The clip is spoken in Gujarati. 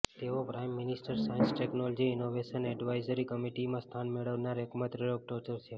તેઓ prime ministers science technology innovation advisory કમિટીમાં સ્થાન મેળવનાર એકમાત્ર ડોક્ટર છે